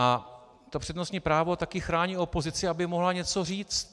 A to přednostní právo také chrání opozici, aby mohla něco říci.